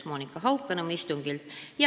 Monika Haukanõmm puudus istungilt.